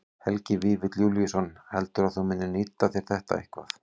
Helgi Vífill Júlíusson: Heldurðu að þú munir nýta þér þetta eitthvað?